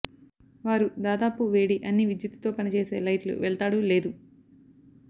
వారు దాదాపు వేడి అన్ని విద్యుత్తుతో పనిచేసే లైట్లు వెళ్తాడు లేదు